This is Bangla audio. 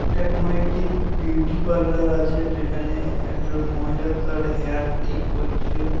এটা কোন একটি বিউটি পার্লার আছে যেখানে একজন মহিলা তার হেয়ার ঠিক করছে ।